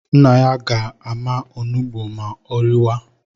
Nna ya ga-ama onugbu ma ọ rịawa